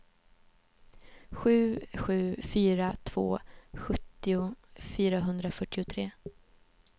sju sju fyra två sjuttio fyrahundrafyrtiotre